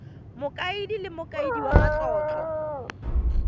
mokaedi le mokaedi wa matlotlo